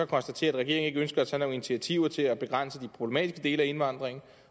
konstatere at regeringen ikke ønsker at tage nogen initiativer til at begrænse de problematiske dele af indvandringen